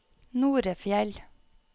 Norefjell